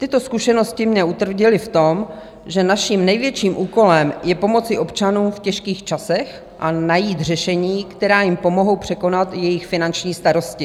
Tyto zkušenosti mě utvrdily v tom, že naším největším úkolem je pomoci občanům v těžkých časech a najít řešení, která jim pomohou překonat jejich finanční starosti.